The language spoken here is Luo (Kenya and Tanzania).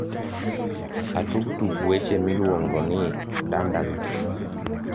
atug tuk weche miluongo ni dandana